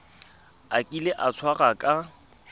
a kile a tshwarwa ka